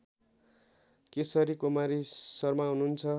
केशरी कुमारी शर्मा हुनुहुन्छ